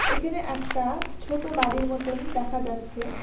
এখানে একটা ছোট বাড়ির মতন দেখা যাচ্ছে।